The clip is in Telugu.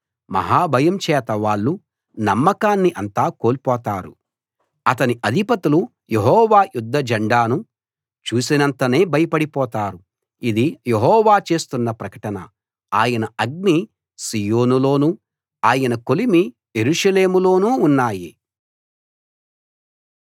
మహా భయం చేత వాళ్ళు నమ్మకాన్ని అంతా కోల్పోతారు అతని అధిపతులు యెహోవా యుద్ధ జెండాను చూసినంతనే భయపడిపోతారు ఇది యెహోవా చేస్తున్న ప్రకటన ఆయన అగ్ని సీయోనులోనూ ఆయన కొలిమి యెరూషలేములోనూ ఉన్నాయి